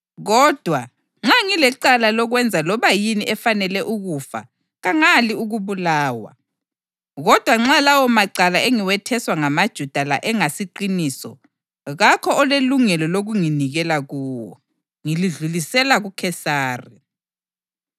Kodwa, nxa ngilecala lokwenza loba yini efanele ukufa kangali ukubulawa. Kodwa nxa lawomacala engiwetheswa ngamaJuda la engasiqiniso, kakho olelungelo lokunginikela kuwo. Ngilidlulisela kuKhesari!”